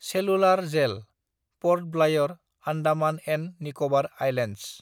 cellular Jail (Port Blair, Andaman and Nicobar islands)